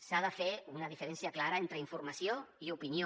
s’ha de fer una diferència clara entre informació i opinió